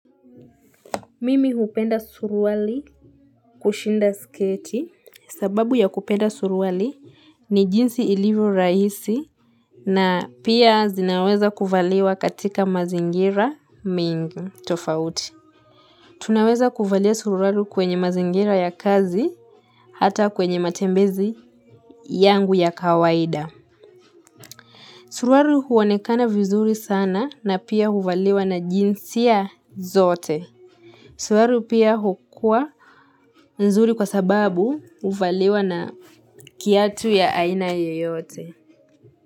Mimi hupenda suruali kushinda sketi sababu ya kupenda suruali ni jinsi ilivyo rahisi na pia zinaweza kuvaliwa katika mazingira mingi tofauti tunaweza kuvalia suruali kwenye mazingira ya kazi hata kwenye matembezi yangu ya kawaida Suruali huonekana vizuri sana na pia huvaliwa na jinsi ya zote suruali pia hukua nzuri kwa sababu huvaliwa na kiatu ya aina yoyote.